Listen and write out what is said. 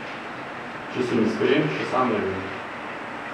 Če sem iskren, še sam ne vem.